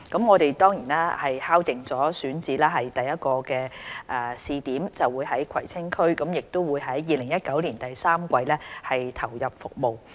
我們已敲定首個位於葵青區試點的選址，大約會於2019年第三季投入服務。